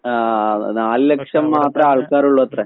ആഹ് നാല് ലക്ഷം മാത്രേ ആൾക്കാരുള്ളുവത്രേ.